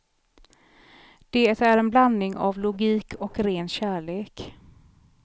Det är en blandning av logik och ren kärlek.